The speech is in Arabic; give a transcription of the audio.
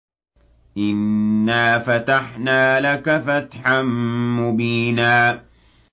إِنَّا فَتَحْنَا لَكَ فَتْحًا مُّبِينًا